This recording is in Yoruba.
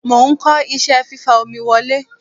Mo ń kọ́ iṣẹ́ fífa omi wọlé.